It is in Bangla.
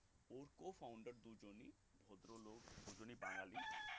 publicly inform এই company co-founder দুজনেই ভদ্রলোক দুজনেই বাঙালি